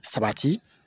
Sabati